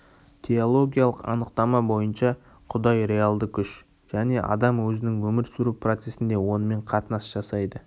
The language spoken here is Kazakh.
теологиялық анықтама бойынша құдай реалды күш және адам өзінің өмір сүру процесінде онымен қатынас жасайды